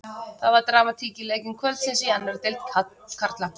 Það var dramatík í leikjum kvöldsins í annarri deild karla.